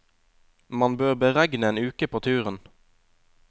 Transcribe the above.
Man bør beregne en uke på turen.